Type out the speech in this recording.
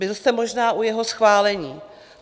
Byl jste možná u jeho schválení.